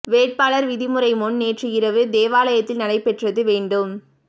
வேட்பாளர் விடுமுறைப் முன் நேற்று இரவு தேவாலயத்தில் நடைபெற்றது வேண்டும்